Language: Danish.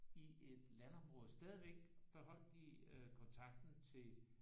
I et landområde stadigvæk beholdt de kontakten til